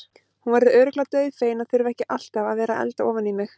Hún verður örugglega dauðfegin að þurfa ekki alltaf að vera að elda ofan í mig.